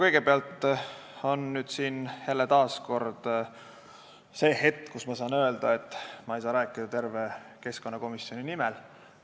Kõigepealt on jälle see hetk, kui ma saan öelda, et ma ei saa rääkida terve keskkonnakomisjoni nimel.